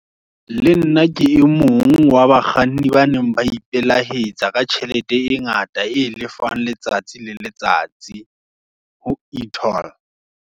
Le nna, ke e mong, wa bakganni ba neng ba ipelahetsa, ka tjhelete e ngata, e lefwang letsatsi le letsatsi. Ho e-toll.